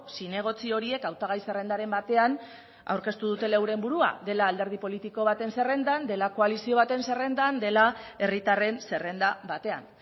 zinegotzi horiek hautagai zerrendaren batean aurkeztu dutela euren burua dela alderdi politiko baten zerrendan dela koalizio baten zerrendan dela herritarren zerrenda batean